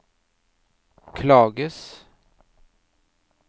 klages